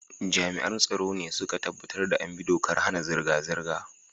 Jami'an tsaro ne su ka tabbatar da an bi dokar hana zirga-zirga.